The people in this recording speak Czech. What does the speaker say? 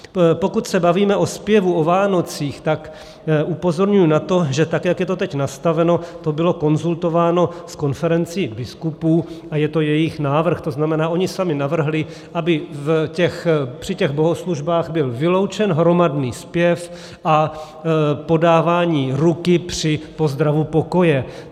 Pokud se bavíme o zpěvu o Vánocích, tak upozorňuji na to, že tak jak je to teď nastaveno, to bylo konzultováno s konferencí biskupů a je to jejich návrh, to znamená, oni sami navrhli, aby při těch bohoslužbách byl vyloučen hromadný zpěv a podávání ruky při pozdravu pokoje.